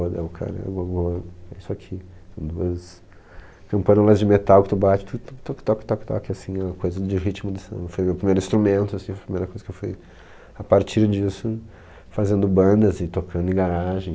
é o cara, agogô é isso aqui, são duas campânulas de metal que tu bate, tuque, tuque, tuque, toque, toque, toque, assim oh, coisa de ritmo de samba, foi meu primeiro instrumento, assim, foi a primeira coisa que eu fui, a partir disso, fazendo bandas e tocando em garagem.